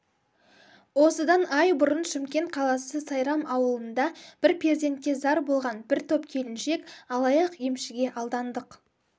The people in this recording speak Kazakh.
осыдан ай бұрын шымкент қаласы сайрам ауылында бір перзентке зар болған бір топ келіншек алаяқ-емшіге алдандық